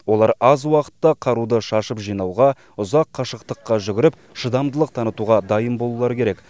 олар аз уақытта қаруды шашып жинауға ұзақ қашықтыққа жүгіріп шыдамдылық танытуға дайын болулары керек